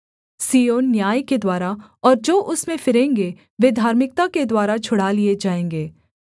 सिय्योन न्याय के द्वारा और जो उसमें फिरेंगे वे धार्मिकता के द्वारा छुड़ा लिए जाएँगे